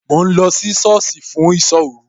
Mò ń lọ sí sọ́ọ̀sì fún ìsọ́ òru